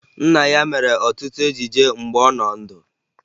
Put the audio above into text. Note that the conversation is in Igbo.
Nna ya mere ọtụtụ ejije mgbe ọ nọ ndụ